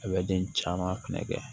A bɛ den caman fɛnɛ kɛ